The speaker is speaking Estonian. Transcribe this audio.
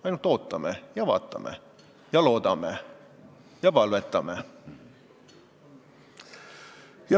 Ainult ootame ja vaatame, loodame ja palvetame.